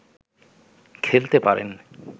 খেলতে পারেন